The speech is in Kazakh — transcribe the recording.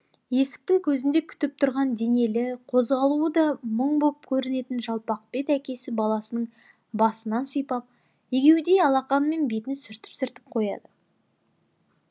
есіктің көзінде күтіп тұрған денелі қозғалуы да мұң боп көрінетін жалпақбет әкесі баласының басынан сипап егеудей алақанымен бетін сүртіп сүртіп қояды